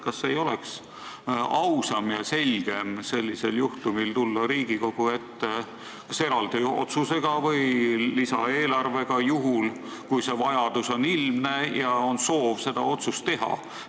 Kas ei oleks ausam ja selgem sellisel juhul tulla Riigikogu ette kas eraldi otsusega või lisaeelarvega, kui see vajadus on ilmne ja on soov seda otsust teha?